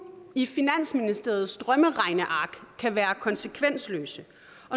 i finansministeriets drømmeregneark kan være konsekvensløse